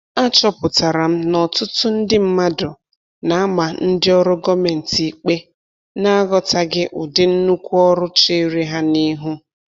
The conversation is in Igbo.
A chọpụtara m n'ọtụtụ ndị mmadụ na-ama ndị ọrụ gọọmentị ikpe na-aghọtaghị ụdị nnukwu ọrụ cheere ha n'ihu.